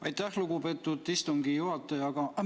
Aitäh, lugupeetud istungi juhataja!